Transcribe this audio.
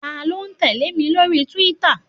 Ta ló tẹ̀lé mi lórí túwítà?